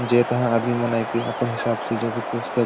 जे तहा आदमी मनाई के अपन हिसाब से जो भी पुस्तक --